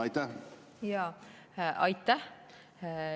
Aitäh!